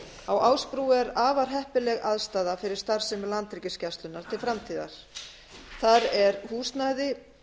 á ásbrú er afar heppileg aðstaða fyrir starfsemi landhelgisgæslunnar til framtíðar þar er húsnæði